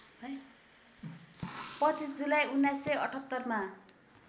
२५ जुलाई १९७८ मा